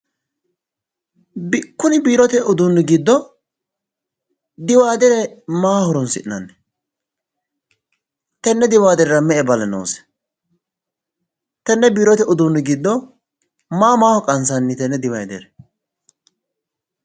Kuni biirote uduunni giddo diwaadere maaho horoonsi'nanni? Tenne Diwaaderera me"e bale noose? Tenne biirote uduunni giddo maa maaho qansanni tenne diwaadere?